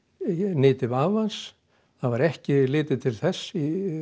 nyti vafans það var ekki litið til þess